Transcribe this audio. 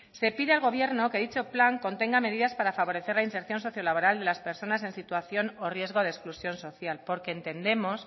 se pide al gobierno que dicho plan contenga medidas para favorecer la inserción socio laboral de las personas en situación o riesgo de exclusión social porque entendemos